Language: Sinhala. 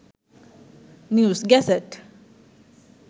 news gazette